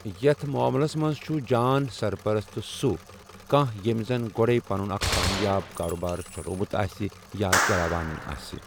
یتھ معملس منز چھُ جان سرپرست سوٗ كانہہ ییمہِ زن گوڈے پنٕن اكھ كامیاب كاربار چلوومٗت آسہِ یا چلاوان آسہِ ۔